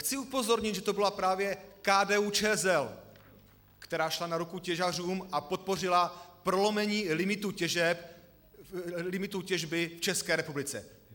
Chci upozornit, že to byla právě KDU-ČSL, která šla na ruku těžařům a podpořila prolomení limitů těžby v České republice.